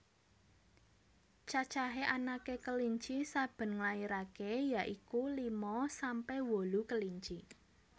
Cacahé anaké kelinci saben nglairaké ya iku lima sampe wolu kelinci